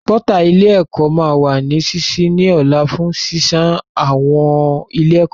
Pọ́tà ilé ẹ̀kọ́ máa wà ní sísí ní ọ̀la fún sísan owó ilé ẹ̀kọ́